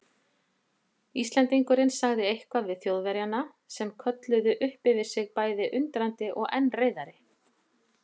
Íslendingurinn sagði eitthvað við Þjóðverjana sem kölluðu upp yfir sig bæði undrandi og enn reiðari.